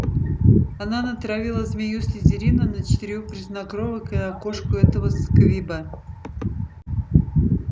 она натравила змею слизерина на четырёх грязнокровок и на кошку этого сквиба